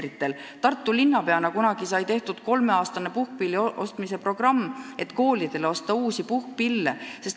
Kui ma Tartu linnapea olin, sai tehtud kolmeaastane puhkpillide ostmise programm, et osta koolidele uusi puhkpille.